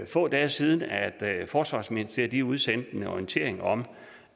få dage siden at forsvarsministeriet udsendte en orientering om